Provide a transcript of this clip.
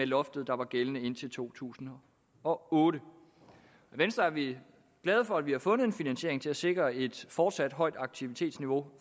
loft der var gældende indtil to tusind og otte i venstre er vi glade for at vi har fundet en finansiering til at sikre et fortsat højt aktivitetsniveau